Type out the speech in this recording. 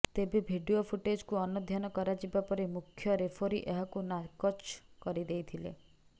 ତେବେ ଭିଡିଓ ଫୁଟେଜକୁ ଅନୁଧ୍ୟାନ କରାଯିବାପରେ ମୁଖ୍ୟ ରେଫେରୀ ଏହାକୁ ନାକଚ କରିଦେଇଥିଲେ